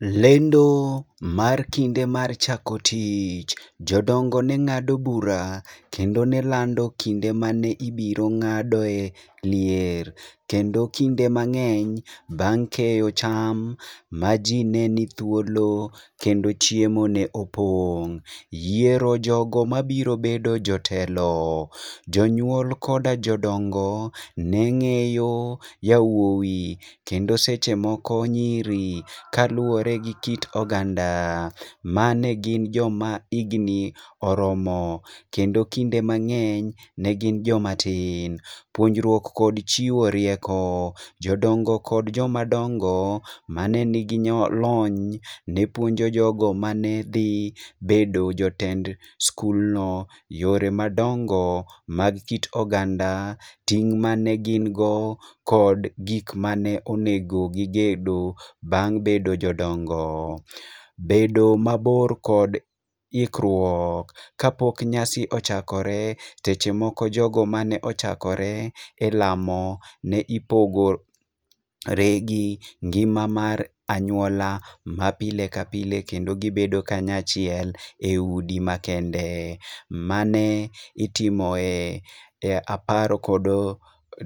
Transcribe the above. Lendo mar kinde mar chako tich. Jodongo ne ng'ado bura kendo ne lando kinde mane ibiro ng'adoe lier, kendo kinde mang'any bang' keyo cham ma ji ne ni thuolo kendo chiemo ne opong'. Yiero jogo mabiro bedo jotelo. Jonyuol koda jodongo ne ng'eyo yawuoyi kendo seche moko nyiri kaluwore gi kit oganda ma ne gin joma igni oromo. Kendo kinde mang'eny ne gin joma tin. Puonjruok kod chiwo rieko. Jodongo kod joma dongo ma ne nigi lony, ne puonjo jogo mane dhi bedo jotend skul no yore madongo mag kit oganda, ting' mane gin go kod gik mane onego gibedgo bang' bedo jodongo. Bedo mabor kod ikruok. Kapok nyasi ochakore, seche moko jogo mane ochakore e lamo ne ipogo re gi ngima mar anyuola ma pile ka pile kendo gibedo kanyo achiel e udi makende. Ma ne itimo e apar kod